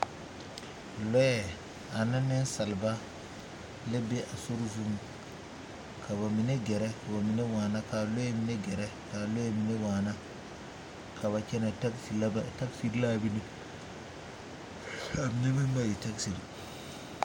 Loɛ ane nensaaleba la be a sori zuŋ ka ba mine gɛrɛ ka ba mine waana ka loɛ mine gɛrɛ ka a loɛ mine waana ka ba kyɛnɛ taazi la a mine a mine meŋ ba taazi.